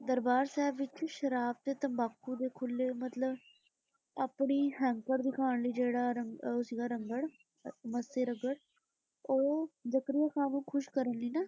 ਦਰਬਾਰ ਸਾਹਿਬ ਵਿਚ ਸ਼ਰਾਬ ਤੇ ਤੰਬਾਕੂ ਦੇ ਖੁੱਲ੍ਹੇ, ਮਤਲਬ ਆਪਣੀ ਹੈਂਕੜ ਦਿਖਾਣ ਲਈ, ਜਿਹੜਾ ਉਹ ਸੀਗਾ ਰੰਘੜ- ਮੱਸੇ ਰੰਘੜ ਉਹ ਜ਼ਕਰੀਆ ਖਾਨ ਨੂੰ ਖੁਸ਼ ਕਰਨ ਲਈ ਨਾ,